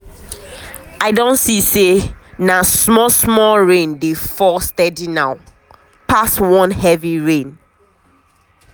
i don see say na small small rain dey fall steady now pass one heavy rain.